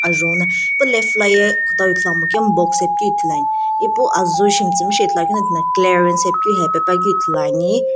ajou na pu left la ye kutau ithuluamo kemu box ae pikeu ithuluani ipu azuu shi mitsumshei ithuluakeu jo tina clearance ae hepepuakeu ithuluani.